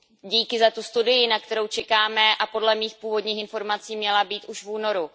Díky za tu studii, na kterou čekáme a podle mých původních informací měla být už v únoru.